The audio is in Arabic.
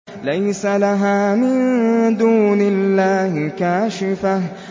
لَيْسَ لَهَا مِن دُونِ اللَّهِ كَاشِفَةٌ